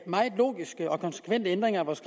meget logiske og konsekvente ændringer af vores